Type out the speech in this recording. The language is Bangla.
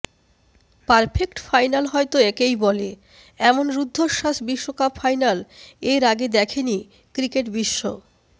পারফেক্ট ফাইনাল হয়তো একেই বলে এমন রুদ্ধশ্বাস বিশ্বকাপ ফাইনাল এর আগে দেখেনি ক্রিকেটবিশ্ব